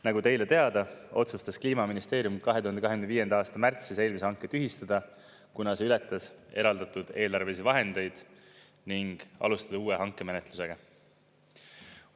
Nagu teile teada, otsustas Kliimaministeerium 2025. aasta märtsis eelmise hanke tühistada, kuna see ületas eraldatud eelarvelisi vahendeid, ning alustada uue hankemenetlusega.